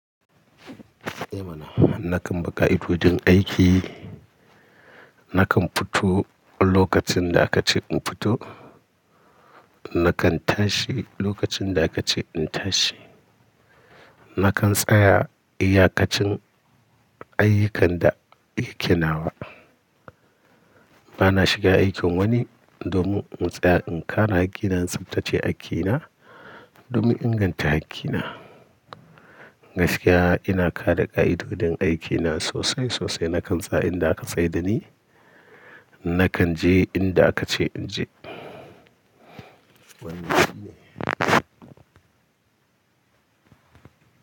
Eh mana, na kan bi ƙa'idodin aiki. Na kan fito lokacin da ka ce in fito, na kan tashi lokacin da ka ce in tashi. Na kan tsaya iyakacin ayyukan da yake nawa. Ba na shiga aikin wani domin motsa in kare hakkina, tsabtace aiki na domin inganta hakki na. Gaskiya ina kare ƙa'idodin aikina sosai sosai. Na kan tsaya inda ka tsai da ni, na kan je inda ka ce in je. Wani ci ne.